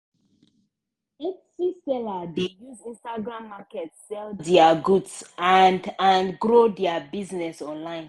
etsy seller dey use instagram market sell dia goods and and grow dia business online.